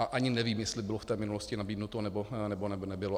A ani nevím, jestli bylo v té minulosti nabídnuto nebo, nebylo.